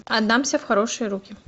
отдамся в хорошие руки